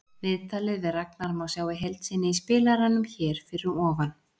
Viðtalið við Ragnar má sjá í heild sinni í spilaranum hér fyrir ofan.